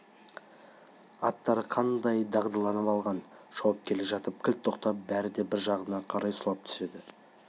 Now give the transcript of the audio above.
аттары қандай дағдыланып алған шауып келе жатып кілт тоқтап бәрі бір жағына қарай сұлап түседі